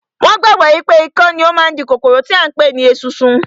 Wọn gbàgbọ́ wípé ikán ni ó ń di kòkòrò tí à ń pè ní esunsun